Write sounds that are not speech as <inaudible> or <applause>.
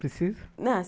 Preciso? <unintelligible>